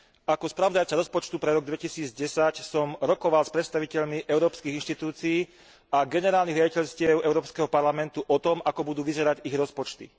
Ako spravodajca rozpočtu pre rok 2010 som rokoval s predstaviteľmi európskych inštitúcií a generálnych riaditeľstiev Európskeho parlamentu o tom, ako budú vyzerať ich rozpočty.